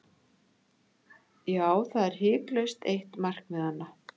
Já, það er hiklaust eitt markmiðanna.